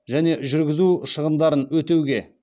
және жүргізу шығындарын өтеуге